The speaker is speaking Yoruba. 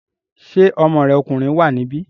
Ṣé ọmọ rẹ̀ ọkùnrin wà níbí?